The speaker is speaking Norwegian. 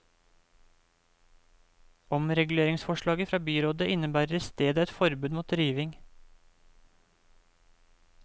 Omreguleringsforslaget fra byrådet innebærer i stedet et forbud mot riving.